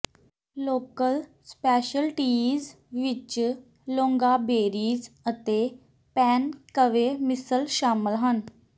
local specialties ਵਿਚ loganberries ਅਤੇ ਪੈਨ ਕਵੇ ਮਿਸਲ ਸ਼ਾਮਲ ਹਨ